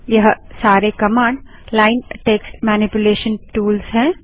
यह सारे command line text manipulation tools हैं